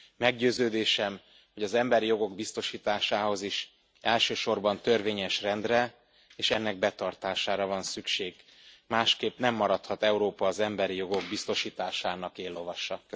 Meggyőződésem, hogy az emberi jogok biztosításához is elsősorban törvényes rendre és ennek betartására van szükség, másképpen nem maradhat Európa az emberi jogok biztosításának éllovasa.